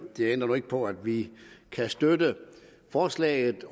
det ændrer nu ikke på at vi kan støtte forslaget